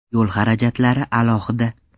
Yo‘l xarajatlari alohida.